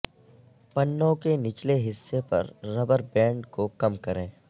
پنوں کے نچلے حصے پر ربر بینڈ کو کم کریں